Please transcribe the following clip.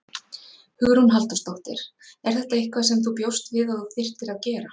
Hugrún Halldórsdóttir: Er þetta eitthvað sem þú bjóst við að þú þyrftir að gera?